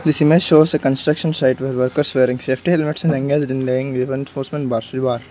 this image shows a construction site where workers wearing safety helmets and engaged in laying a reinforcement bar.